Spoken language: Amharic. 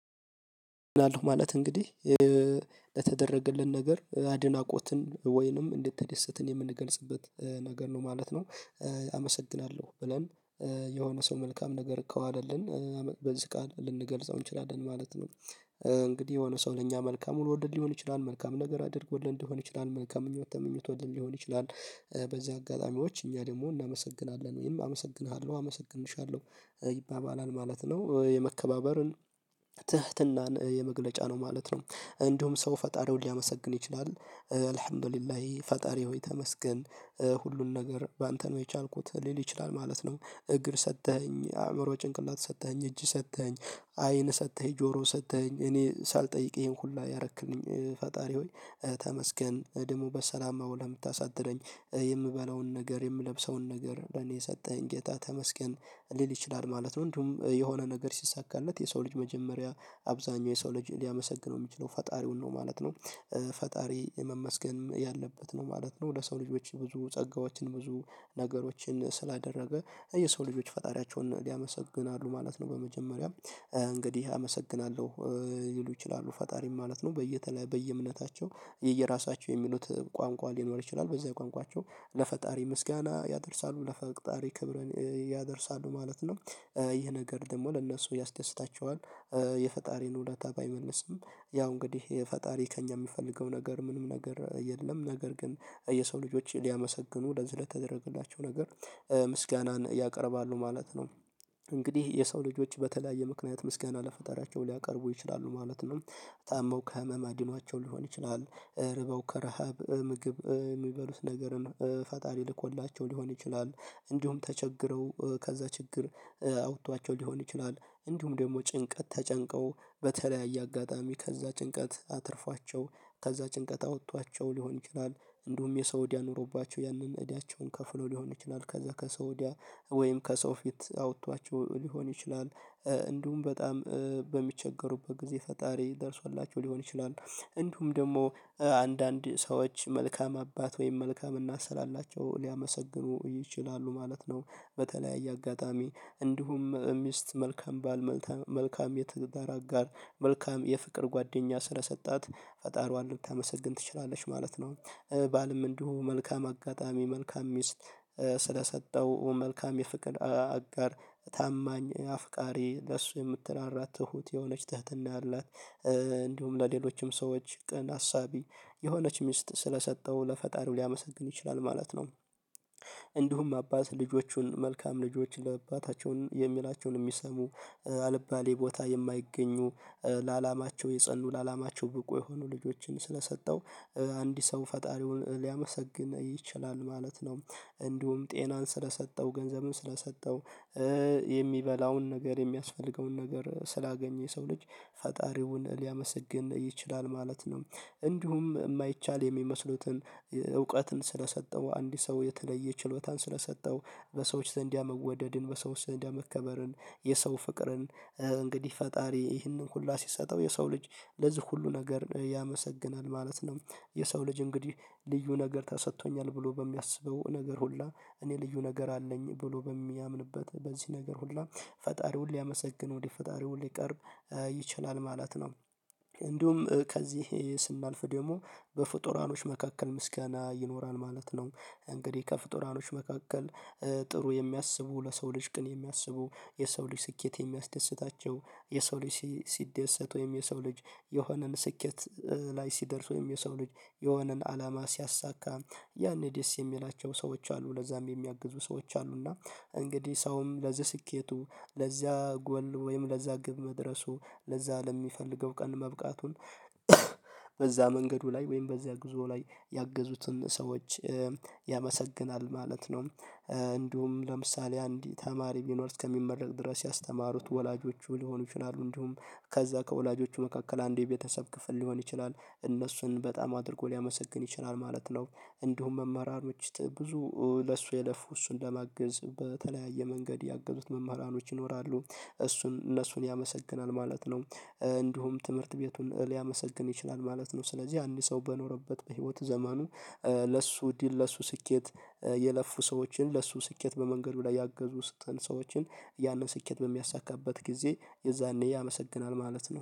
አመስግናለሁ ማለት እንግዲህ ለተደረገልን ነገር አድናቆትን ወይንም እንድትደሰትን የምንገልጽበት ነገር ነው ማለት ነው። አመሰግናለሁ ብለን የሆነ ሰው መልካም ነገር ከዋለልን በዚህ ቃል ልንገልጸው እንችላለን ማለት ነው። እንግዲህ የሆነ ሰው ለእኛ መልካም ሆኖልን ሊሆን ይችላል መልካም ነገር አድርጎልን ሊሆን ይችላል መልካም ምኞት ተመኝቶልን ሊሆን ይችላል። በዚህ አጋጣሚዎች እኛ ደግሞ እናመሰግናለን ወይም አመሰግንሃለሁ አመሰግንሻለሁ ይባባላል ማለት ነው። የመከባበርን ትህትናን የመግለጫ ነው ማለት ነው። እንዲሁም ሰው ፈጣሪውን ሊያመሰግን ይችላል አልህምዱሊላሂ ፈጣሪ ሆይ ተመሰገን ሁሉን ነገር በአንተ ነው የቻልኩት ሊል ይችላል ማለት ነው። እግር ሰጠኸኝ አእምሮ ጭንቅላት ሰጠኸኝ እጅ ሰጠኸኝ አይን ሰጠኸኝ ጆሮ ሰጥተኸኝ እኔ ሳልጠይቅህ ይሄን ሁላ ያደረክልኝ ፈጣሪ ሆይ ተመስገን እድሙ በሰላም አዉለህ ለምታሳድረኝ የምበለውን ነገር የምለብሰውን ነገር ለኔ የሰጠኝ ጌታ ተመስገን ሊል ይችላል ማለት ነው። እንዲሁም የሆነ ነገር ሲሳካለት የሰው ልጅ መጀመሪያ አብዛኛው የሰው ልጅ ሊያመሰግነው የሚችለው ፈጣሪውን ነው ማለት ነው። ፈጣሪ መመስገንም ያለበት ነው ማለት ነው። ለሰው ልጆችን ብዙ ጸጋዎችን ብዙ ነገሮችን ስላደረገ የሰው ልጆች ፈጣሪያቸውን ያመሰግናሉ ማለት ነው። በመጀመሪያም እንግዲህ አመሰግናለሁ ሊሉ ይችላሉ ፈጣሪም ማለት ነው። በየእምነታቸው የየራሳቸው የሚሉት ቋንቋ ሊኖር ይችላል በዛ ቋንቋቸው ለፈጣሪ ምስጋና ያደርሳሉ ለፈጣሪ ክብርን ያደርሳሉ ማለት ነው። ይህ ነገር ደግሞ ለእነሱ ያስደስታቸዋል። የፈጣሪን ውለታ ባይመልስም ያው እንግዲህ ፈጣሪ ከእኛ ሚፈልገው ነገር ምንም ነገር የለም ነገር ግን የሰው ልጆች ሊያመሰግኑ ለዚህ ለተደረገላቸው ነገር ምስጋናን ያቀርባሉ ማለት ነው። እንግዲህ የሰው ልጆች በተለያየ ምክንያት ምስጋና ለፈጣሪያቸው ሊያቀርቡ ይችላሉ ማለት ነው። ታመው ከህመም አድኗቸው ሊሆን ይችላል ተርበው ከረሃብ ምግብ የሚበሉትን ነገርም ፈጣሪ ልኮላቸው ሊሆን ይችላል። እንዲሁም ተቸግረው ከዛ ችግር አውጥቷቸው ሊሆን ይችላል እንዲሁም ደግሞ ጭንቀት ተጨንቀው በተለያየ አጋጣሚ ከዛ ጭንቀት አትርፏቸው ከዛ ጭንቀት አወጧቸው ሊሆን ይችላል። እንዲሁም የሰው እዳ ኑሮባቸው ያንን እዳቸውን ከፍሎ ሊሆን ይችላል ከዛ ከሰው እዳ ወይም ከሰው ፊት አውጥቷቸው ሊሆን ይችላል። እንዲሁም በጣም በሚቸገሩበት ጊዜ ፈጣሪ ደርሶላቸው ሊሆን ይችላል እንዲሁም ደግሞ አንዳንድ ሰዎች መልካም አባት ወይም መልካም እናት ስላላቸው ሊያመሰግኑ ይችላሉ ማለት ነው። በተለያየ አጋጣሚ እንዲሁም ሚስት መልካም ባል መልካም የትዳር አጋር መልካም የፍቅር ጓደኛ ስለሰጣት ፈጣሪዋን ልታመሰግን ትችላለች ማለት ነው። ባልም እንዲሁ መልካም አጋጣሚ መልካም ሚስት ስለሰጠው መልካም የፍቅር አጋር ታማኝ አፍቃሪ ለሱ የምትራራ ትሁት የሆነች ትህትና ያላት እንዲሁም ለሌሎችም ሰዎች ቀን አሳቢ የሆነች ሚስት ስለሰጠው ለፈጣሪው ሊያመሰግን ይችላል ማለት ነው። እንዲሁም አባት ልጆቹን መልካም ልጆች ለአባታቸው የሚላቸውን የሚሰሙ አልባሌ ቦታ የማይገኙ ለአላማቸው የጸኑ ለአላማቸው ብቁ የሆኑ ልጆችን ስለሰጠው አንድ ሰው ፈጣሪውን ሊያመሰግን ይችላል ማለት ነው። እንዲሁም ጤናን ስለሰጠው ገንዘብም ስለሰጠው የሚበላውን ነገር የሚያስፈልገውን ነገር ስላገኘ የሰው ልጅ ፈጣሪውን ሊያመሰግን ይችላል ማለት ነው። እንዲሁም የማይቻል የሚመስሉትን እውቀትን ስለሰጠው አንድ ሰው የተለየ ችሎታን ስለሰጠው በሰዎች ዘንድ ያ መወደድን በሰው ዘንድ ያ መከበርን የሰው ፍቅርን እንግዲህ ፈጣሪ ይህንን ሁሉ ሲሰጠው የሰው ልጅ ለዚህ ሁሉ ነገር ያመሰግናል ማለት ነው። የሰው ልጅ እንግዲህ ልዩ ነገር ተሰጥቶኛል ብሎ በሚያስበው ነገር ሁላ እኔ ልዩ ነገር አለኝ ብሎ በሚያምንበት በዚህ ነገር ሁሉ ፈጣሪውን ሊያመሰግን ወደ ፈጣሪው ሊቀርብ ይችላል ማለት ነው። እንዲሁም ከዚህ ስናልፍ ደግሞ በፍጡራኖች መካከል ምስጋና ይኖራል ማለት ነው። እንግዲህ ከፍጡራኖች መካከል ጥሩ የሚያስቡ ለሰው ልጅ ግን የሚያስቡ የሰው ልጅ ስኬት የሚያስደስታቸው የሰው ልጅ ሲደሰት ወይም የሰው ልጅ የሆነን ስኬት ላይ ሲደርስ ወይም የሰው ልጅ የሆነን አላማ ሲያሳካ ያኔ ደስ የሚላቸው ሰዎች አሉ ለዛም የሚያግዙ ሰዎች አሉና እንግዲህ ሰውም ለዚህ ስኬቱ ለዚያ ጎል ወይም ለዛ ግብ መድረሱ ለዛ ለሚፈልገው ቀን መብቃቱን በዛ መንገዱ ላይ ወይም በዚያ ጉዞ ላይ ያገዙትን ሰዎች ያመሰግናል ማለት ነው። እንዲሁም ለምሳሌ አንድ ተማሪ ቢኖር እስከሚመረቅ ድረስ ያስተማሩት ወላጆቹ ሊሆኑ ይችላሉ እንዲሁም ከዛ ከወላጆቹ መካከል አንዱ የቤተሰብ ክፍል ሊሆን ይችላል እነሱን በጣም አድርጎ ሊያመሰግን ይችላል ማለት ነው። እንዲሁም መምህራኖች ብዙ ለሱ የለፉ እሱን ለማገዝ በተለያየ መንገድ ያገዙት መምህራኖች ይኖራሉ። እሱን እነሱን ያመሰግናል ማለት ነው። እንዲሁም ትምህርት ቤቱን ሊያመሰግን ይችላል ማለት ነው። ስለዚህ አንድ ሰው በኖረበት በህይወት ዘመኑ ለሱ ድል ለሱ ስኬት የለፉ ሰዎችን ለሱ ስኬት በመንገዱ ላይ ያገዙትን ሰዎችን ያንን ስኬት በሚያሳካበት ጊዜ የዛኔ ያመሰግናል ማለት ነው